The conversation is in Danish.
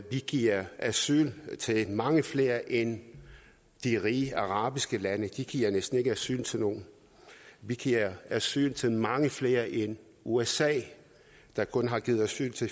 vi giver asyl til mange flere end de rige arabiske lande de giver næsten ikke asyl til nogen vi giver asyl til mange flere end usa der kun har givet asyl til